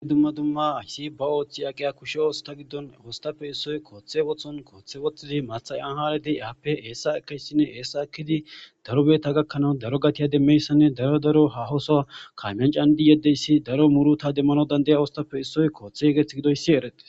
In dumma dumma aysi baooththi aqiya kushe oosta giddon ooostape issoy kooththe wothon kooththe woththidi mathayan haladi aappe eessa ekaysinne eessa ekidi daro beeta gakkanawu daro gatiya demmeyssanne daro daro hahoso kaamiyan candi yeddeyssi daro muruta demmano dandaya oostape issoy kooththe yegeth gidoyssi erete.